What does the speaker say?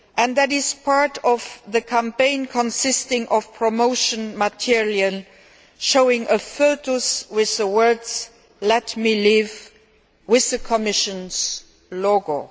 This is part of the campaign consisting of promotion material showing a foetus with the words Let me live', with the Commission's logo.